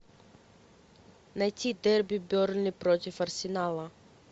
найти дерби бернли против арсенала